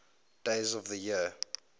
days of the year